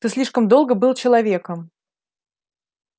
ты слишком долго был человеком